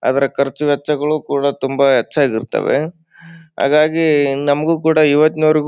ಅದರ ಕರ್ಚು ವೆಚ್ಚು ಕೂಡ ತುಂಬಾ ಎಚ್ಚಾಗಿರ್ತವೆ ಹಾಗಾಗಿ ನಮಗು ಕೂಡ ಇವತ್ನಿವರೆಗೂ --